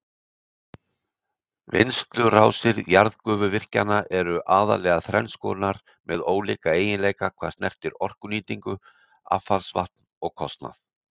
Vinnslurásir jarðgufuvirkjana eru aðallega þrenns konar með ólíka eiginleika hvað snertir orkunýtingu, affallsvatn og kostnað.